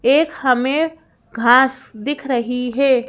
एक हमें घास दिख रही है।